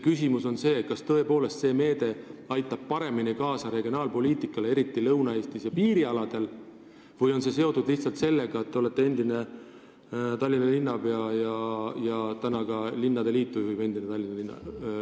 Küsimus on selles, kas see meede aitab tõepoolest kaasa regionaalpoliitikale, eriti Lõuna-Eestis ja piirialadel, või on see seotud lihtsalt sellega, et te olete endine Tallinna linnapea ja ka praegu juhib linnade liitu Tallinna linnapea.